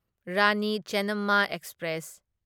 Rani Chennamma express